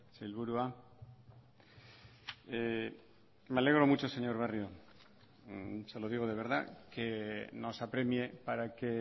sailburua me alegro mucho señor barrio se lo digo de verdad que nos apremie para que